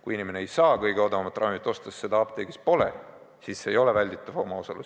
Kui inimene ei saa kõige odavamat ravimit osta, sest seda apteegis ei ole, siis see ei ole välditav omaosalus.